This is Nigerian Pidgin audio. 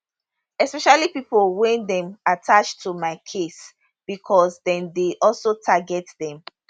especially pipo wey dem attach to my case becos dem dey also target dem